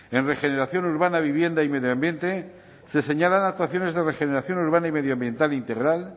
en regeneración urbana vivienda y medio ambiente se señalan actuaciones de regeneración urbana y medioambiental integral